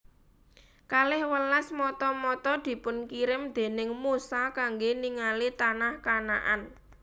Kalih welas mata mata dipunkirim déning Musa kangge ningali tanah Kanaan